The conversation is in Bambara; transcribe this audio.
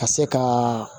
Ka se ka